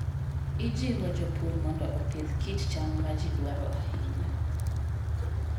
Ijiwo jopur mondo opidh kit cham ma ji dwaro ahinya.